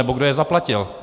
Nebo kdo je zaplatil?